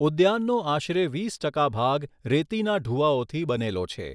ઉદ્યાનનો આશરે વીસ ટકા ભાગ રેતીના ઢૂવાઓથી બનેલો છે.